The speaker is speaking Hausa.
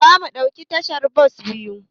Zamu ɗauki tashar bas biyu.